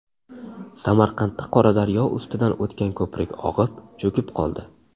Samarqandda Qoradaryo ustidan o‘tgan ko‘prik og‘ib, cho‘kib qoldi.